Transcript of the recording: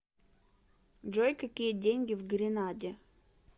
джой какие деньги в гренаде